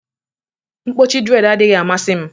Mkpọchi dread adịghị amasị m